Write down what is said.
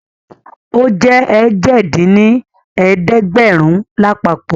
Ó jẹ́ èje dín ní ẹ̀ẹ́dẹ́gbẹ́rún lápapọ̀